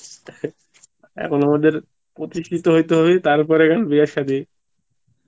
এখন আমাদের প্রতিস্থিত হইতে হয় তার পরে গিয়ান বিয়া সাদি